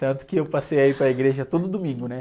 Tanto que eu passei a ir para a igreja todo domingo, né?